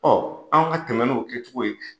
an ka tɛmɛ n'o kɛcogo ye.